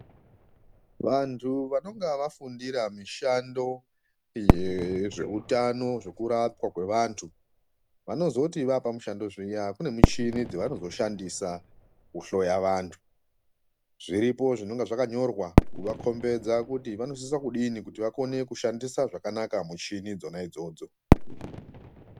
Vantu vanonga vafundira mishando yezveutano zvekurapwa kwevantu vanozoti vaapamushando zviya kune michini dzavanozoshandisa kuhloya vantu. Zviripo zvinonga zvakanyorwa kuvakhombeza kuti vanosisa kudini kuti vakone kushandisa zvakanaka muchini idzona idzodzo.